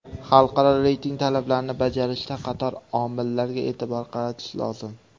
Xalqaro reyting talablarini bajarishda qator omillarga e’tibor qaratish lozim.